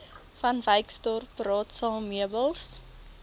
vanwyksdorp raadsaal meubels